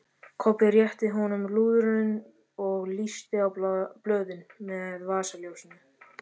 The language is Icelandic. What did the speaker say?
Kobbi rétti honum lúðurinn og lýsti á blöðin með vasaljósinu.